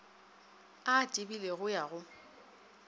a a tebilego ya go